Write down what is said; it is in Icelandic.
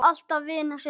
Alltaf vinir síðan.